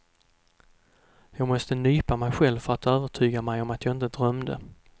Jag måste nypa mig själv för att övertyga mig om att jag inte drömde.